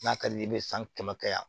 N'a ka di ye i bɛ san kɛmɛya